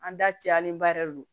An da cɛlen ba yɛrɛ don